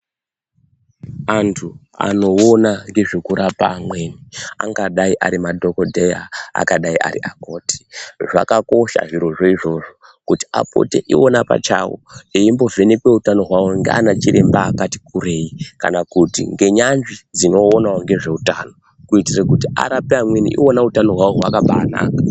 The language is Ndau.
Antu anoona ngezve kurapa amweni angadai ari madhogodheya angadai ariakoti. Zvakakosha zvirozvo izvozvo kuti apote ivona pachavo eimbovhenekwe utano hwavo ndiana chiremba akati kurei kana kuti ngenyanzvi dzinoonavo ngezveutano. Kuitire kuti arape amweni ivona utano hwavo hwakabanaka.